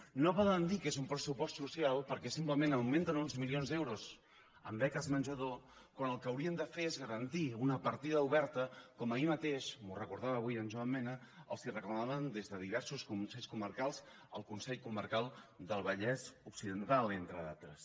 i no poden dir que és un pressupost social perquè simplement augmenten uns milions d’euros en beques menjador quan el que haurien de fer és garantir una partida oberta com ahir mateix m’ho recordava avui en joan mena els reclamaven des de diversos consells comarcals el consell comarcal del vallès occidental entre altres